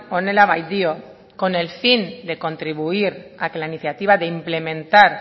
honela baitio con el fin de contribuir a que la iniciativa de implementar